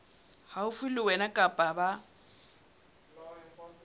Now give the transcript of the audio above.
haufi le wena kapa ba